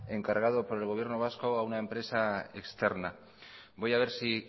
encargado por el gobierno vasco a una empresa externa voy a ver si